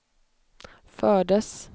fördes